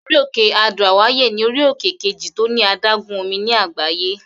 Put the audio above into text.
Orí-òkè Adó-àwáyè ní orí-òkè kejì tó ní adágún omi ní àgbáyé.